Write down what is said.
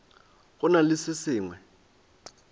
go na le se sengwe